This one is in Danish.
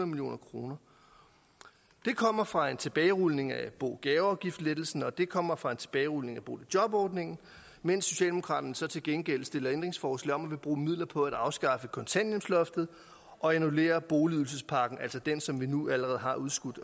million kroner det kommer fra en tilbagerulning af bo og gaveafgiftslettelsen og det kommer fra en tilbagerulning af boligjobordningen mens socialdemokraterne så til gengæld stiller ændringsforslag om at ville bruge midler på at afskaffe kontanthjælpsloftet og annullere boligydelsespakken altså den som vi nu allerede har udskudt